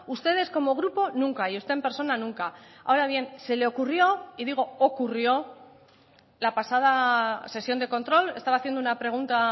ustedes como grupo nunca y usted en persona nunca ahora bien se le ocurrió y digo ocurrió la pasada sesión de control estaba haciendo una pregunta